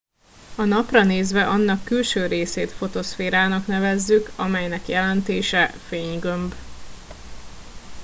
a napra nézve annak külső részét fotoszférának nevezzük amelynek jelentése fénygömb